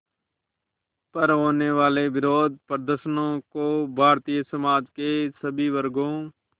पर होने वाले विरोधप्रदर्शनों को भारतीय समाज के सभी वर्गों